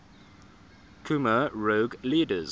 khmer rouge leaders